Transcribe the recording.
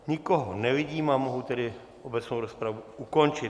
Nikoho nevidím, a mohu tedy obecnou rozpravu ukončit.